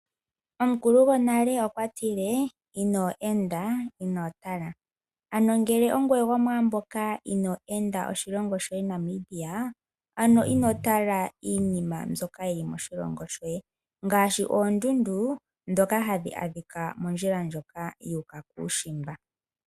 Omukulu gwonale okwatile :" ino enda ,inotala". Ano ngele ongoye gwo maamboka ino enda oshilongo shoye Namibia ano inotala iinima mbyoka yili moshilongo shoye ngaashi oondundu ndhoka hadhi adhika mondjila ndjoka yu uka kuushimba.